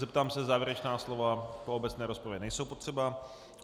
Zeptám se, závěrečná slova v obecné rozpravě nejsou potřeba.